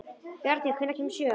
Bjarný, hvenær kemur sjöan?